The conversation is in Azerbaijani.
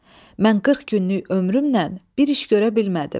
Mən qırx günlük ömrümlə bir iş görə bilmədim.